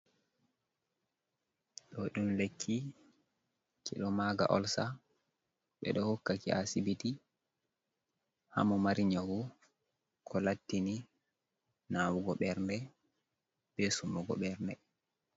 Ɗo ɗum lekki ki ɗo maga orsa ɓe ɗo hokka ki ha asibiti ha momari nyawu ko lattini nawugo ɓerɗe be summugo ɓerɗe.